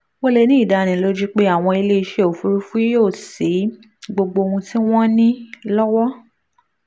o lè ní ìdánilójú pé àwọn iléeṣẹ́ òfuurufú yóò ṣí gbogbo ohun tí wọ́n ní lọ́wọ́